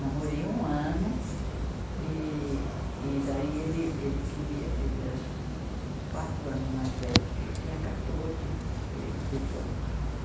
namorei um ano e, e daí ele, ele queria, ele era quatro anos mais velho do que eu, tinha quatorze, ele dezoito.